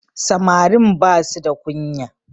Samarin ba su the kunya